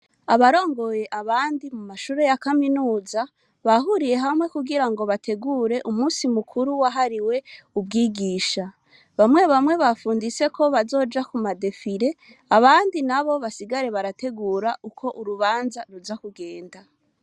Abarongoye abandi mu mashure ya kaminuza, bahuriye hamwe kugira ngo bategure umusi mukuru wahariwe ubwigisha. Bamwe bamwe bafunditse ko bazoja kuma defire, abandi nabo basigare barategura uko urubanza ruza kugenda.